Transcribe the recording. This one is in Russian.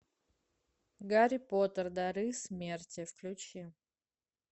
гарри поттер дары смерти включи